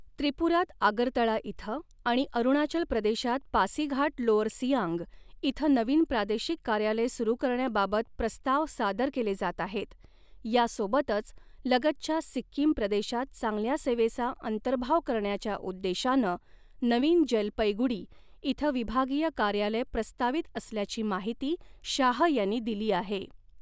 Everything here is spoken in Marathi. त्रिपुरात आगरतळा इथं आणि अरुणाचल प्रदेशात पासीघाट लोअर सियांग इथं नवीन प्रादेशिक कार्यालय सुरू करण्याबाबत प्रस्ताव सादर केले जात आहेत, यासोबतच लगतच्या सिक्कीम प्रदेशात चांगल्या सेवेचा अंतर्भाव करण्याच्या उद्देशानं नवीन जलपैगुडी इथं विभागीय कार्यालय प्रस्तावित असल्याची माहिती शाह यांनी दिली आहे.